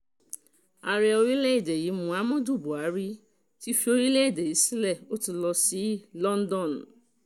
ààrẹ orílẹ̀‐èdè yìí muhammadu buhari ti fi orílẹ̀‐èdè nàíjíríà sílẹ̀ ó ti lọ sí london